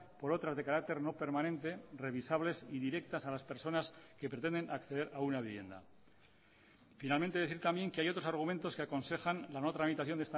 por otras de carácter no permanente revisables y directas a las personas que pretenden acceder a una vivienda finalmente decir también que hay otros argumentos que aconsejan la no tramitación